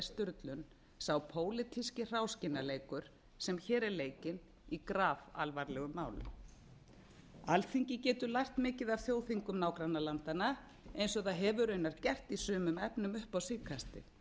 sturlun sá pólitíski hráskinnaleikur sem hér er leikinn í grafalvarlegu máli alþingi getur lært mikið af þjóðþingum nágrannalandanna eins og það hefur raunar gert í sumum efnum upp á síðkastið